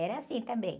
Era assim também.